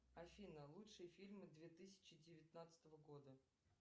афина лучшие фильмы две тысячи девятнадцатого года